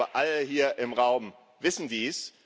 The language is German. Ich glaube, alle hier im Raum wissen dies.